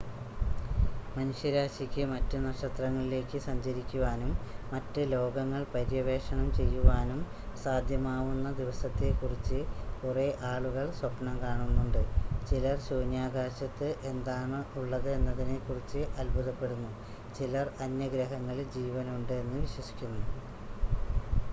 മനുഷ്യരാശിക്ക് മറ്റ് നക്ഷത്രങ്ങളിലേക്ക് സഞ്ചരിക്കുവാനും മറ്റ് ലോകങ്ങൾ പര്യവേക്ഷണം ചെയ്യുവാനും സാധ്യമാവുന്ന ദിവസത്തെക്കുറിച്ച് കുറെ ആളുകൾ സ്വപ്നം കാണുന്നുണ്ട് ചിലർ ശൂന്യാകാശത്ത് എന്താണുള്ളത് എന്നതിനെക്കുറിച്ച് അത്ഭുദപ്പെടുന്നു ചിലർ അന്യഗ്രഹങ്ങളിൽ ജീവനുണ്ട് എന്ന് വിശ്വസിക്കുന്നു